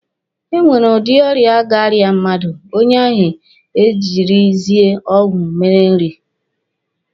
E nwere udi ọrịa ga-arịa mmadụ, onye ahụ e jirizie ọgwụ mere nrị.